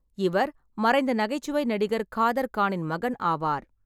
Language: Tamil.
இவர் மறைந்த நகைச்சுவை நடிகர் காதர் கானின் மகன் ஆவார்.